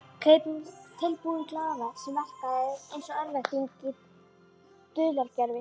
Tilbúin glaðværð sem verkaði einsog örvænting í dulargervi.